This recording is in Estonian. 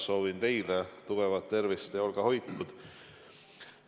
Soovin teilegi tugevat tervist, olge hoitud!